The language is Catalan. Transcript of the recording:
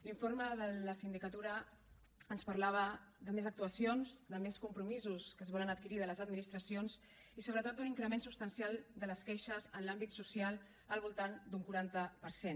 l’informe de la sindicatura ens parlava de més actuacions de més compromisos que es volen adquirir de les administracions i sobretot d’un increment substancial de les queixes en l’àmbit social al voltant d’un quaranta per cent